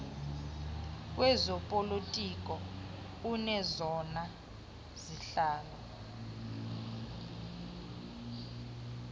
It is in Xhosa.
wezopolitiko onezona zihlalo